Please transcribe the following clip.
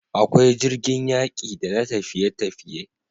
Akwai jirgin yaƙi da na tafiye tafiye